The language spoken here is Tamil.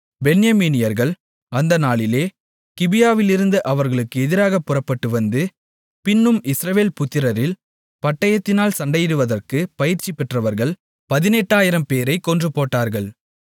பென்யமீனியர்கள் அந்த நாளிலே கிபியாவிலிருந்து அவர்களுக்கு எதிராகப் புறப்பட்டுவந்து பின்னும் இஸ்ரவேல் புத்திரரில் பட்டயத்தினால் சண்டையிடுவதற்குப் பயிற்சிபெற்றவர்கள் 18000 பேரைக் கொன்றுபோட்டார்கள்